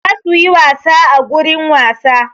Za su yi wasa a gurin wasa.